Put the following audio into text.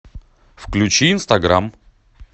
включи инстаграм